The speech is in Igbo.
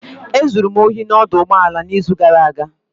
E zuru m ohi n'ọdụ ụgbọala n'izu gara aga.